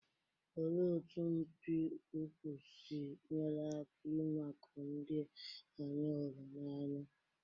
Olee otú mpi ụkwụ si nyere aka ịmakụ ndị anyị hụrụ n'anya?